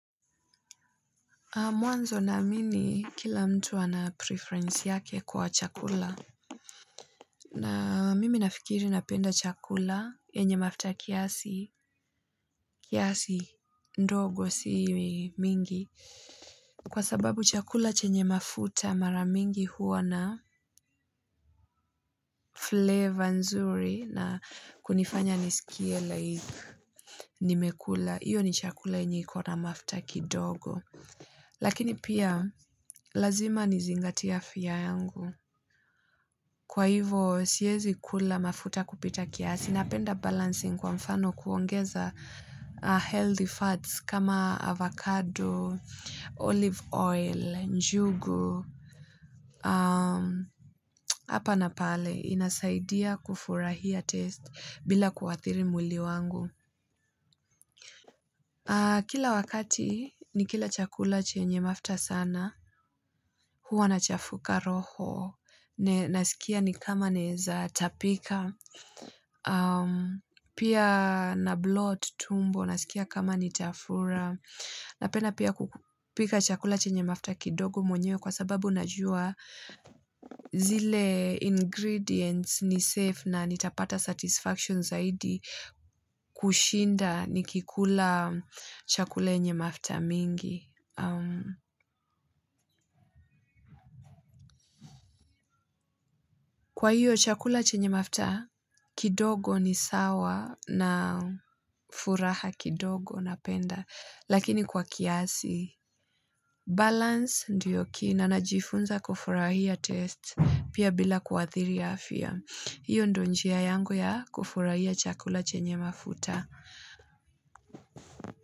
Mwanzo naamini kila mtu ana preference yake kwa chakula na mimi nafikiri napenda chakula chenye mafuta kiasi kiasi ndogo si mingi kwa sababu chakula chenye mafuta mara mingi huwa na fleva nzuri na kunifanya niskie nimekula, iyo ni chakula yenye ikona mafuta kidogo lakini pia, lazima nizingatie afia yangu kwa ivo siwezi kula mafuta kupita kiasi napenda balancing kwa mfano kuongeza healthy fats kama avocado, olive oil, njugu hapa napale, inasaidia kufurahia taste bila kuathiri mwili wangu kila wakati ni kila chakula chenye mafuta sana huwa nachafuka roho, naskia ni kama nawezatapika pia na bloat tumbo, naskia kama ni tafura napenda pia kupika chakula chenye mafuta kidogo mwenyewe kwa sababu najua zile ingredients ni safe na nitapata satisfaction zaidi kushinda nikikula chakula chenye mafuta mengi kwa iyo chakula chenye mafuta kidogo ni sawa na furaha kidogo na penda lakini kwa kiasi balance ndio kina najiifunza kufurahia taste pia bila kuathiri afya iyo ndio njia yangu ya kufurahia chakula chenye mafuta.